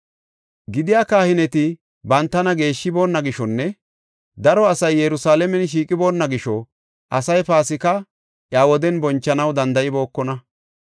Gidiya kahineti bantana geeshshiboonna gishonne daro asay Yerusalaamen shiiqiboona gisho asay Paasika iya woden bonchanaw danda7ibookona.